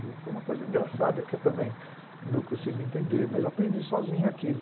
E foi uma coisa engraçada que eu também não consigo entender, mas eu aprendi sozinho aquilo.